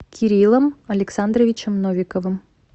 кириллом александровичем новиковым